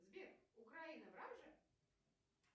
сбер украина враг же